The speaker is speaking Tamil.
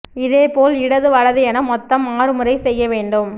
இதேபோல் இடது வலது என மொத்தம் ஆறு முறை செய்ய வேண்டும்